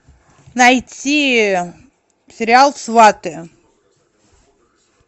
найти сериал сваты